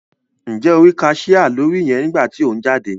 Njẹ o ri cashier lórí yẹn nigba ti o n jáde?